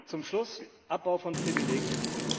Zum Schluss Abbau von Privilegien.